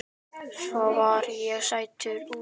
Svo var ég settur út.